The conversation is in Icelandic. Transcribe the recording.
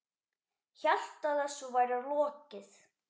Hélt að þessu væri lokið.